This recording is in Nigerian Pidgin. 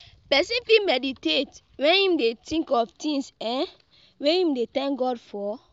Person fit mediate when im dey think of things um wey im dey thank God for